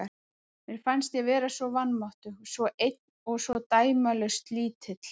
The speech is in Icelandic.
Mér fannst ég vera svo vanmáttugur, svo einn og svo dæmalaust lítill.